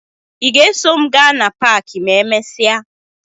Ị ga-eso m gaa na paakị ma emesịa?